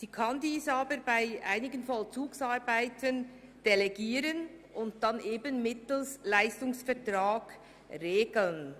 Sie kann dies aber bei einigen Vollzugsarbeiten delegieren und mittels Leistungsvertrag regeln.